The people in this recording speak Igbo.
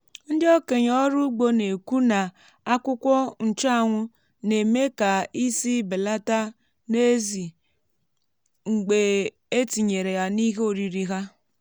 ndị okenye ọrụ ugbo na-ekwu na akwukwo nchuanwu na-eme ka ísì belata n'ezì mgbe e tinyere ya n’ihe oriri há.